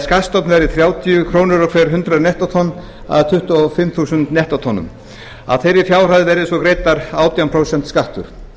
skattstofninn verði þrjátíu krónur á hver hundrað nettótonn að tuttugu og fimm þúsund nettótonnum af þeirri fjárhæð verði svo greiddur átján prósent skattur